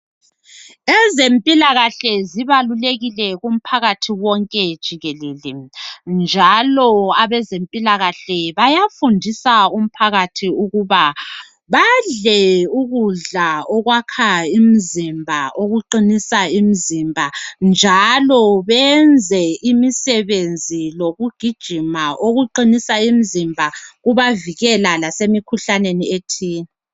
Ezempilakahle zibalulekile kumphakathi wonke jikelele njalo abezempilakahle bayafundisa umphakathi ukuba badle ukudla okwakha imizimba okuqinisa imizimba njalo benze imisebenzi yokugijima kubavikela emikhuhlaneni ethize.